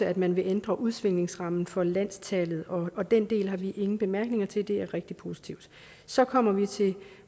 at man vil ændre udsvingningsrammen for landstallet og den del har vi ingen bemærkninger til det er rigtig positivt så kommer vi til